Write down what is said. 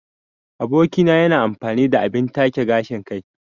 Aboki na yana amfani da abin take gashin kai.